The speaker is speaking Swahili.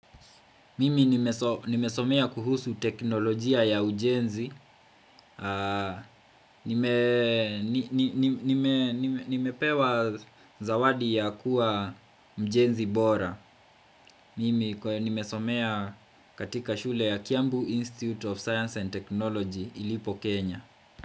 Mimi nimesomea kuhusu teknolojia ya ujenzi Nimepewa zawadi ya kuwa mjenzi bora Mimi nimesomea katika shule ya Kiambu Institute of science and Technology ilipo Kenya.